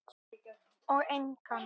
Og engan.